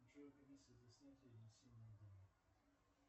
джой комиссия за снятие и внесение денег